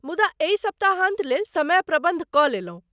मुदा, एहि सप्ताहान्त लेल समय प्रबन्ध कऽ लेलहुँ।